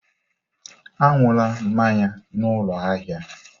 Aṅụla mmanya n'ụlọ ahịa!